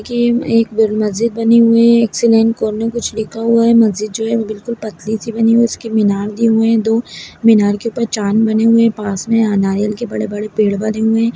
के में एक बर मस्जिद बनी हुई है एक में कुछ लिखा हुआ है मस्जिद जो है वो बिलकुल पतली सी बनी है उसके मीनार दिए हुए है दो मीनार के ऊपर चाँद बने हुए पास में अ नारियल के बड़े-बड़े पेड़ बने हुए है।